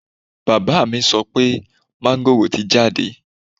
Bàbá mi sọ pé máńgòrò ti jáde